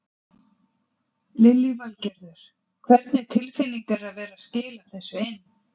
Lillý Valgerður: Hvernig tilfinning er að vera skila þessu inn?